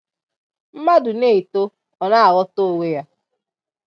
Mmadu na-eto, Ọ na ghọta onwe ya.